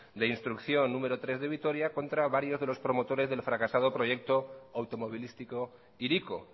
de instrucción número tres de vitoria contra varios de los promotores del fracasado proyecto automovilístico hiriko